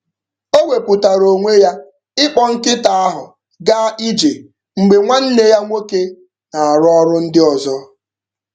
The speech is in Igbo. O wepuatara onwe ya ịkpọ nkịta ahụ gaa ije mgbe nwanne ya nwoke na-arụ ọrụ ndị ọzọ.